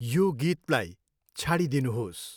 यो गीतलाई छाडिदिनुहोस्